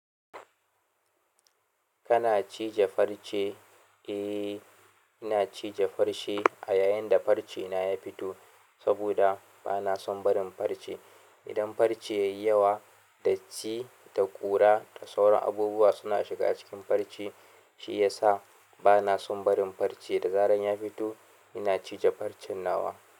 Kana cije farce? Eh, ina cije farce a yayin da farce na ya fito saboda bana son barin farce. Idan farce yayi yawa, datti da ƙura da sauran abubuwa suna shiga cikin farce, shi yasa bana san barin farce da zarar ya fito, ina cije farcen nawa.